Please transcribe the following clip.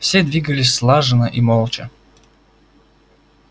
все двигались слаженно и молча